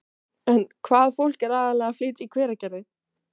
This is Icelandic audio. En hvaða fólk er aðallega að flytja í Hveragerði?